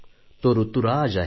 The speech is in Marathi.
तो ऋतुराज आहे